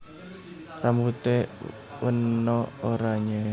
Rambute wena oranye